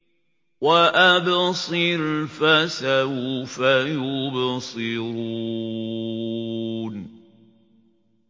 وَأَبْصِرْ فَسَوْفَ يُبْصِرُونَ